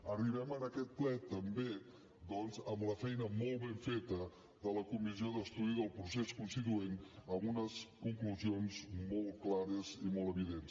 arribem a aquest ple també doncs amb la feina molt ben feta de la comissió d’estudi del procés constituent amb unes conclusions molt clares i molt evidents